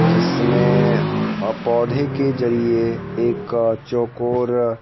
जिसमें अ पौधे के जरिए एक अ चौकोर--